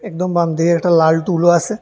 একদম বামদিকে একটা লাল টুলও আসে।